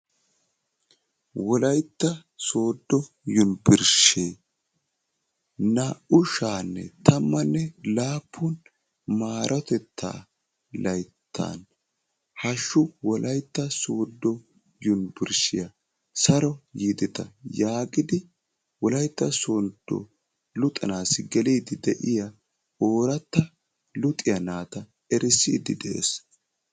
wolayttaa sooddo yunburushee naa"u sha"anne tammanne laappun maarotettaa layttan hahsshu wolaytta sooddo yunburushiyaa saro yideta yaagidi wolaytta sooddo luxxanassi geliidi de'iyaa ooratta luxxiyaa naata erissidi de'ees.